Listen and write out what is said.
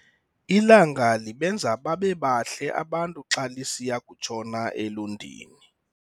Ilanga libenza babe bahle abantu xa lisiya kutshona elundini.